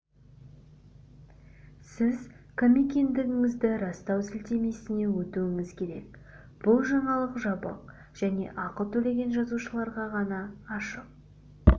сіз кім екендігіңізді растау сілтемесіне өтуіңіз керек бұл жаңалық жабық және ақы төлеген жазылушыларға ғана ашық